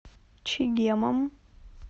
чегемом